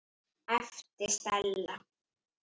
æpti Stella.